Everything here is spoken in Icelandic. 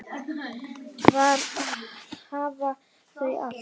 Þar hafa þau allt.